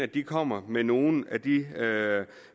de kommer med nogle af de